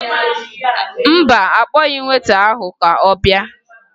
Mba, akpọghị m weta ahụ ka ọ bịa